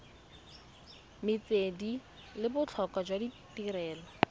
metswedi le botlhokwa jwa tirelo